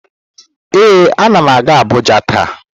Ee, anam aga abuja ta.